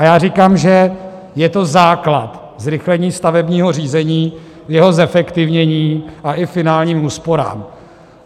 A já říkám, že je to základ, zrychlení stavebního řízení, jeho zefektivnění a i finálním úsporám.